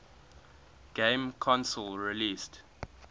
game console released